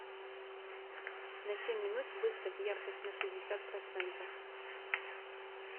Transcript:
на семь минут выставь яркость на шестьдесят процентов